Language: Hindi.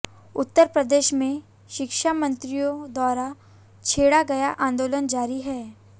उत्तर प्रदेश में शिक्षामित्रों द्वारा छेड़ा गया आंदोलन जारी है